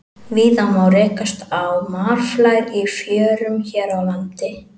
Víða má rekast á marflær í fjörum hér á landi.